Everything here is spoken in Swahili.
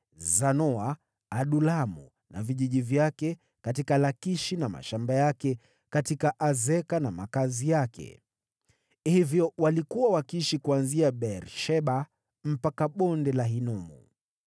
Zanoa, Adulamu na vijiji vyake, katika Lakishi na mashamba yake, na katika Azeka na makazi yake. Hivyo walikuwa wakiishi kuanzia Beer-Sheba mpaka Bonde la Hinomu.